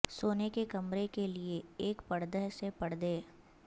سونے کے کمرے کے لئے ایک پردہ سے پردے